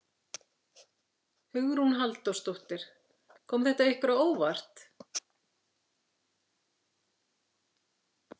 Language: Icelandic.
Hugrún Halldórsdóttir: Kom þetta ykkur á óvart?